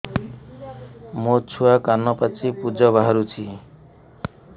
ମୋ ଛୁଆ କାନ ପାଚି ପୂଜ ବାହାରୁଚି